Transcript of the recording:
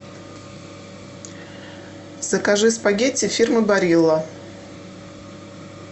закажи спагетти фирмы барилла